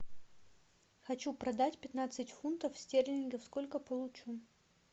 хочу продать пятнадцать фунтов стерлингов сколько получу